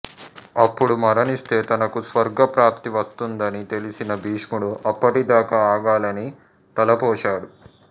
అప్పుడు మరణిస్తే తనకు స్వర్గ ప్రాప్తి వస్తుందని తెలిసిన భీష్ముడు అప్పటి దాక ఆగాలని తలపోశాడు